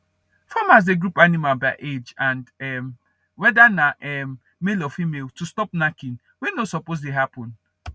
farmers dey group animals by age and um whether na um male or female to stop knacking wey no suppose dey happen